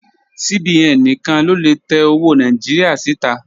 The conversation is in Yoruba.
CBN níkan ló lè tẹ́ ọwọ́ Nàìjíríà sí tà.